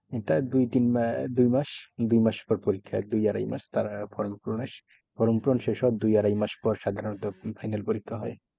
ওটা দুই তিন আহ দুই মাস দুই মাস পর পরীক্ষা। দুই আড়াই মাস form পূরণের form পূরণ শেষ হওয়ার দুই আড়াই মাস পর সাধারণত final পরীক্ষা হয়।